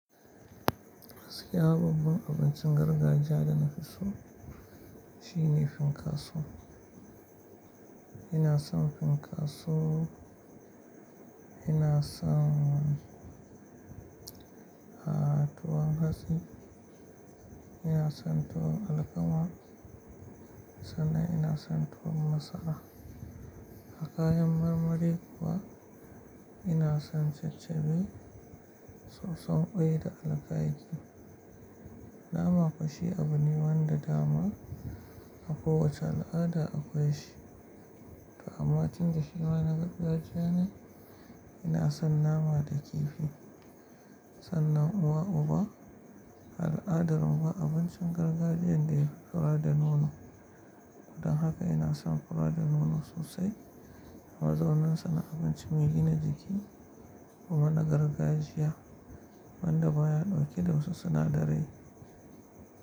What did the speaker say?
Gaskiya babu abincin gargajiya da na fi so. Shi ne fankaso. Ina son fankaso, ina son, a tuwan hatsi, ina son tuwon alkama sannan ina son tuwon masara. A kayan marmari kuwa ina son cecebe soson ƙwai da alakakai. Nama koh shi abu ne wanda dama a kowace al'ada akwai shi. Toh amma tufda shi ma na gargajiya ne. Ina son nama da kifi sannan uwa uba. Al'adarmu ba abincin gargajiyan da yafi fura da nono. Don haka ina son fura da nono sosai. Mazornin suna abinci mai gina jiki kuma na gargajiya wanda baya ɗauke da wasu sinadarai.